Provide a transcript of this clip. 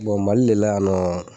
Bɔn mali le la yan nɔ